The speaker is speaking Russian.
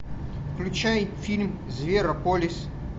включай фильм зверополис